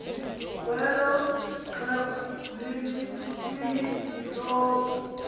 kwelo xhego lehishophu